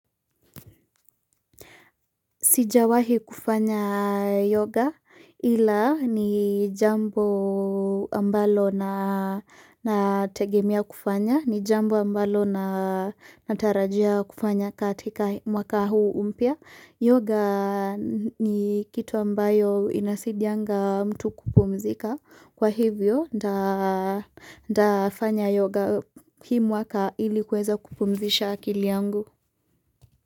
Sijawahi kufanya yoga ila ni jambo ambalo na,,, nategemea kufanya ni jambo ambalo natarajia kufanya katika mwaka huu mpya Yoga ni kitu ambayo inasaidianga mtu kupumzika kwa hivyo nta,, ntafanya yoga hii mwaka ili kuweza kupumzisha akili yangu.